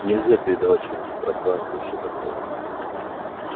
нельзя передавать через гиперпространство и всё такое